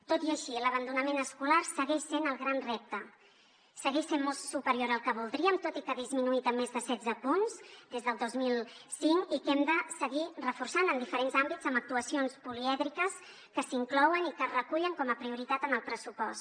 tot i així l’abandonament escolar segueix sent el gran repte segueix sent molt superior al que voldríem tot i que ha disminuït en més de setze punts des del dos mil cinc i que hem de seguir reforçant en diferents àmbits amb actuacions polièdriques que s’inclouen i que es recullen com a prioritat en el pressupost